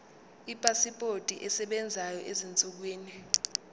ipasipoti esebenzayo ezinsukwini